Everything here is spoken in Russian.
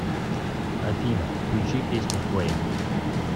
афина включи песню флэймс